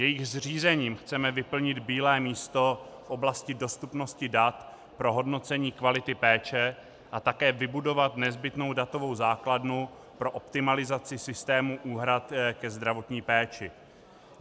Jejich zřízením chceme vyplnit bílé místo v oblasti dostupnosti dat pro hodnocení kvality péče a také vybudovat nezbytnou datovou základnu pro optimalizaci systému úhrad ke zdravotní péči.